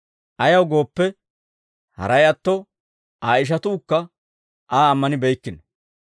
Ayaw gooppe, haray atto Aa ishatuukka Aa ammanibeykkino.